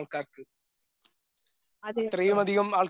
അതെട്ടോ